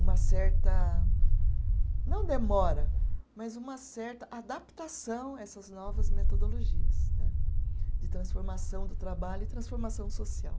uma certa, não demora, mas uma certa adaptação a essas novas metodologias né de transformação do trabalho e transformação social.